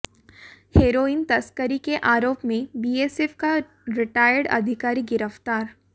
heroin तस्करी के आरोप में बीएसएफ का रिटायर्ड अधिकारी गिरफ्तार